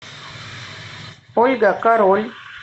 ольга король